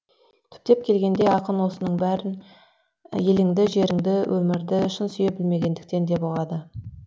түптеп келгенде ақын осының бәрі еліңді жеріңді өмірді шын сүйе білмегендіктен деп ұғады